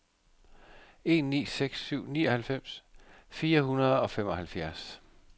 en ni seks syv nioghalvfems fire hundrede og femoghalvfjerds